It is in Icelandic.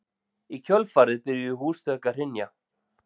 Í kjölfarið byrjuðu húsþök að hrynja